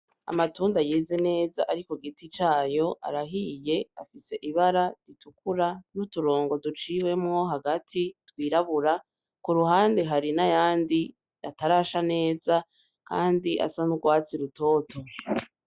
Amatunda yeze neza ari kugiti cayo arahiye afise ibara ritukura n'uturongo duciyemwo hagati yirabura kurahande hari nayandi atarasha neza ayandi asa n'urwatsi rutoto.